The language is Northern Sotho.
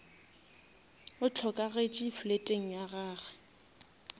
o hlokagetše fleteng ya gage